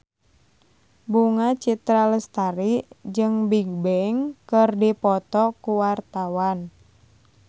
Bunga Citra Lestari jeung Bigbang keur dipoto ku wartawan